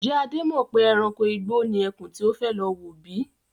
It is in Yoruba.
Ń jẹ́ Adé mọ pè ẹranko igbó ni ẹkún tí ó fẹ́ lọ wò bíi?